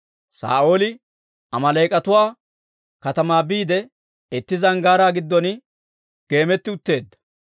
Saa'ooli Amaaleek'atuwa katamaa biide, itti zanggaaraa giddon geemetti utteedda.